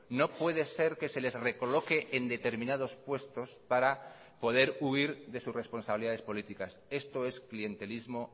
no puede ser que se les recoloque en determinados puestos para poder huir de sus responsabilidades políticas esto es clientelismo